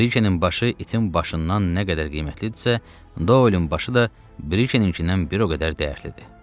Brikennin başı itin başından nə qədər qiymətlidirsə, Doylen başı da Brikenninkindən bir o qədər dəyərlidir.